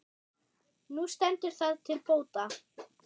Nú stendur það til bóta.